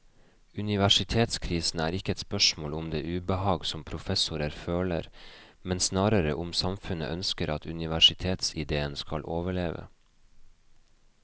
Universitetskrisen er ikke et spørsmål om det ubehag som professorer føler, men snarere om samfunnet ønsker at universitetsidéen skal overleve.